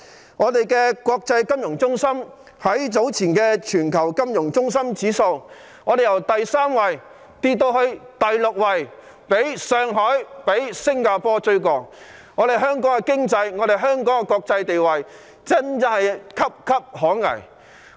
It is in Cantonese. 香港這個國際金融中心在早前全球金融中心指數的排名，由第三位跌至第六位，已被上海及新加坡趕上，香港的經濟及國際地位岌岌可危。